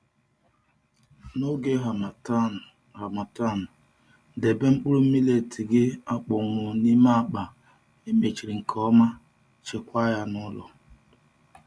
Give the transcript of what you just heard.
N’oge Harmattan, Harmattan, debe mkpụrụ millet gị akpọnwụ n’ime akpa e mechiri nke ọma, chekwaa ya n’ụlọ.